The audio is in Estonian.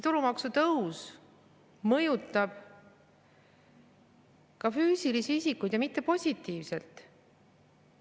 Tulumaksu tõus mõjutab ka füüsilisi isikuid ja mitte positiivselt.